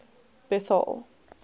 bethal